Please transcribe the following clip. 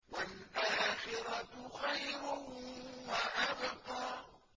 وَالْآخِرَةُ خَيْرٌ وَأَبْقَىٰ